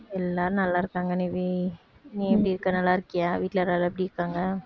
எல்லாரும் நல்லாருக்காங்க நிவி நீ எப்படி இருக்க நல்லா இருக்கியா வீட்டுல எல்லாரும் எப்படி இருக்காங்க